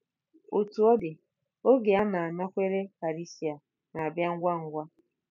Otú ọ dị, oge a na-anakwere karịsịa, na-abịa ngwa ngwa.